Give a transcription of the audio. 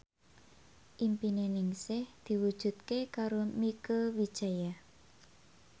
impine Ningsih diwujudke karo Mieke Wijaya